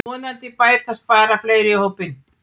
Vonandi bætast bara fleiri í hópinn